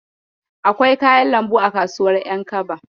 Akwai kayan lambu a kasuwar ƴankaba.